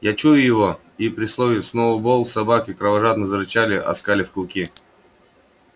я чую его и при слове сноуболл собаки кровожадно зарычали оскалив клыки